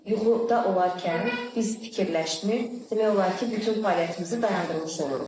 Yuxuda olarkən biz fikirləşmir, demək olar ki, bütün fəaliyyətimizi dayandırmış oluruq.